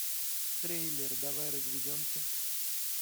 трейлер давай разведемся